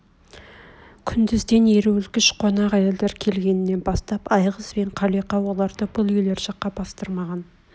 күндізден еруілкіш қонақ әйелдер келгенінен бастап айғыз бен қалиқа оларды бұл үйлер жаққа бастырмаған